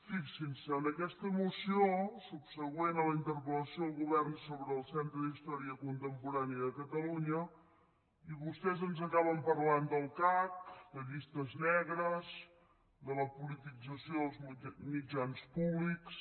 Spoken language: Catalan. fixin se en aquesta moció subsegüent a la interpellació al govern sobre el centre d’història contemporània de catalunya vostès ens acaben parlant del cac de llistes negres de la politització dels mitjans públics